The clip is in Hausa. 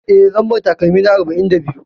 Eh, Lambar takalmina arba'in da biyu.